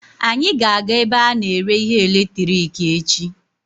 Anyị ga-aga ebe a na-ere ihe eletiriki echi.